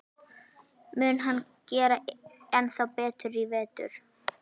Mun hann gera ennþá betur í vetur?